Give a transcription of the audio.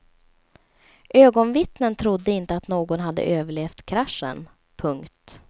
Ögonvittnen trodde inte att någon hade överlevt kraschen. punkt